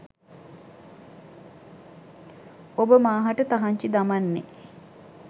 ඔබ මා හට තහන්චි දමන්නෙ